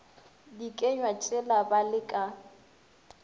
dikenywa tšela ba le ka